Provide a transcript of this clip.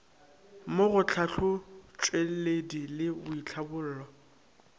mo go tlhahlotšweledi le boitlhabollo